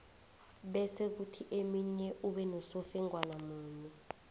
bese kuthi eminye ube nosofengwana munye